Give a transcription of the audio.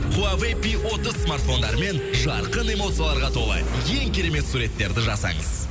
хуавэй пи отыз смартфондарымен жарқын эмоцияларға толы ең керемет суреттерді жасаңыз